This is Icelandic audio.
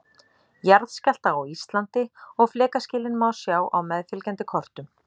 Jarðskjálfta á Íslandi og flekaskilin má sjá á meðfylgjandi kortum.